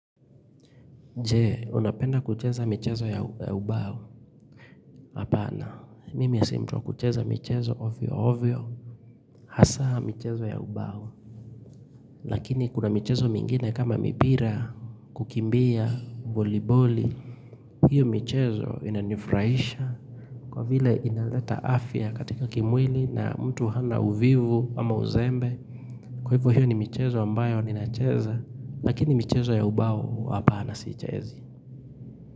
Je, unapenda kucheza michezo ya ubao? Hapana, mimi si mtu wa kucheza michezo ovyo ovyo. Hasa michezo ya ubao. Lakini kuna michezo mingine kama mipira, kukimbia, voliboli. Hiyo mchezo inanifurahisha. Kwa vile inaleta afya katika kimwili na mtu hana uvivu ama uzembe. Kwa hivyo hiyo ni mchezo ambayo ninacheza. Lakini mchezo ya ubao, hapana siichezi.